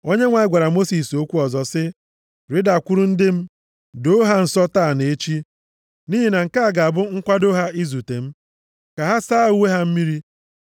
Onyenwe anyị gwara Mosis okwu ọzọ sị, “Rịdakwuru ndị m, doo ha nsọ taa na echi. Nʼihi na nke a ga-abụ nkwado ha izute m. Ka ha saa uwe ha mmiri,